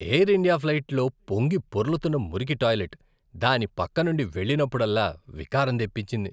Air India ఫ్లైట్లో పొంగిపొర్లుతున్న మురికి టాయిలెట్, దాని పక్కనుండి వెళ్ళినప్పుడల్లా వికారం తెప్పించింది.